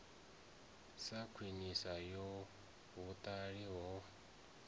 sa khwiniso ya vhuhaṱuli ho